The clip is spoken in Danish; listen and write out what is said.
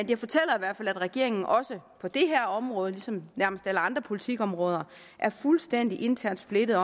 det fortæller i hvert fald at regeringen også på det her område som på nærmest alle andre politikområder er fuldstændig internt splittet